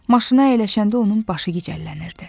Maşına əyləşəndə onun başı gicəllənirdi.